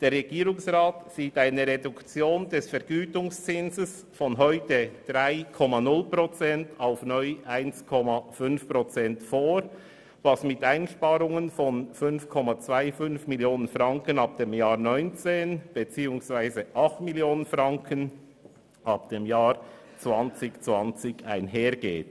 Der Regierungsrat sieht eine Reduktion des Vergütungszinses von heute 3,0 Prozent auf neu 1,5 Prozent vor, was mit Einsparungen von 5,25 Mio. Franken ab 2019 beziehungsweise 8 Mio. Franken ab 2020 einhergeht.